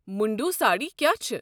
مُنٛڈوٗ سٲڑۍ کیٚا چھِ؟